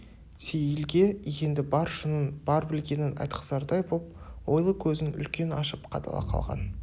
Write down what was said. сейілге енді бар шынын бар білгенін айтқызардай боп ойлы көзін үлкен ашып қадала қалған